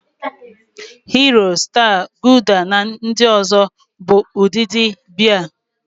Hiro, Staa, Gulda na ndị ọzọ bụ ụdịdị Bịa.